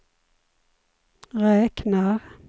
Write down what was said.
räknar